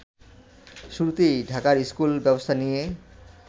শুরুতেই ঢাকার স্কুল ব্যব্স্থা নিয়ে